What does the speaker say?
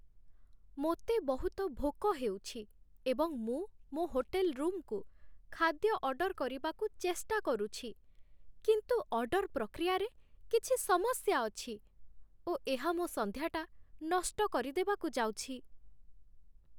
ମୋତେ ବହୁତ ଭୋକ ହେଉଛି, ଏବଂ ମୁଁ ମୋ ହୋଟେଲ୍ ରୁମକୁ ଖାଦ୍ୟ ଅର୍ଡର କରିବାକୁ ଚେଷ୍ଟା କରୁଛି, କିନ୍ତୁ ଅର୍ଡର ପ୍ରକ୍ରିୟାରେ କିଛି ସମସ୍ୟା ଅଛି, ଓ ଏହା ମୋ ସନ୍ଧ୍ୟାଟା ନଷ୍ଟ କରିଦେବାକୁ ଯାଉଛି